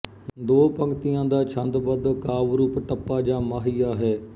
ਦੋ ਪੰਗਤੀਆਂ ਦਾ ਛੰਦਬੱਧ ਕਾਵਿ ਰੂਪ ਟੱਪਾ ਜਾਂ ਮਾਹੀਆ ਹੈ